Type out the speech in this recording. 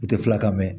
I tɛ filakan mɛn